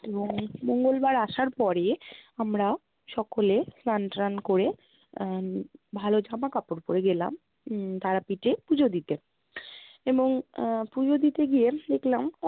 এবং মঙ্গলবার আসার পরে আমরা সকলে স্নান টান করে আহ ভালো জামা কাপড় পরে গেলাম উম তারাপীঠে পূজো দিতে এবং আহ পূজো দিতে গিয়ে দেখলাম